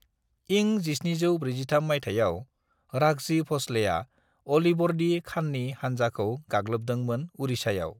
"इं 1743 माइथायाव, राघजि भंसलेआ ओलिवोर्दि खान नि हानजा खौ गागलोबदों मोन उड़िसायाव।"